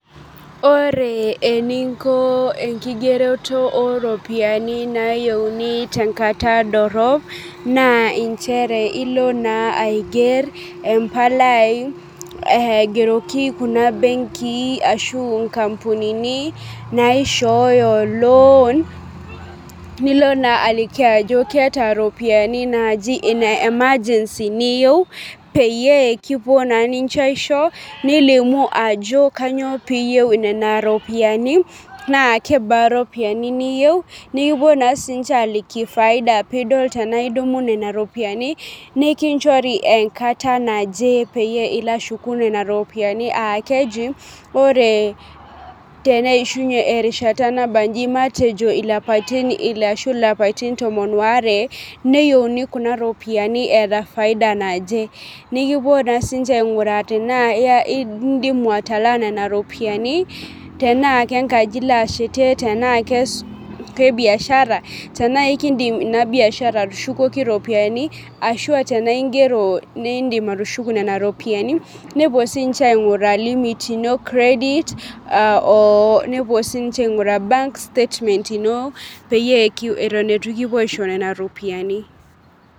Ore eninko enkigeroto oropiyiani nayieuni tenkata dorrop naa inchere ilo naa aigerr empalai aigeroki kuna benkii ashu inkampunini naishooyo loan nilo naa aliki ajo keeta iropiyiani naaji ine emergency niyieu peyie kipuo naa ninche aisho nilimu ajo kanyio piyieu nena ropiyiani naa kebaa iropiyiani niyieu nikipuo naa sininche aliki faida pidol tenaa idumu nena ropiyiani nikinchori enkata naje peyie ilo ashuku nena ropiyiani akeji ore teneishunye erishata nabanji matejo ilapaitin ile ashu ilapaitin tomon woare neyieuni kuna ropiyiani eeta faida naje nikipuo naa sinche aing'uraa tenaa iya indimu atalaa nena ropiyiani tenaa kenkaji ilo ashetie tenaa ke biashara tenaa ekindim ina biashara atushukoki iropiyiani ashua tenaa ingero nindim atushuku nena ropiyiani nepuo sinche aing'uraa limit ino credit uh oo nepuo sinche bank statement ino peyie kiu eton etu kipuo aisho nena ropiyiani.